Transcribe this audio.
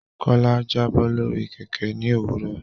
Kola Jabo lórí Kẹ̀kẹ́ ní òwúrọ̀.